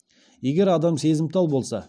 егер адам сезімтал болса